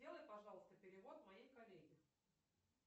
сделай пожалуйста перевод моей коллеге